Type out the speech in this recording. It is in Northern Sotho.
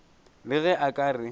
le ge a ka re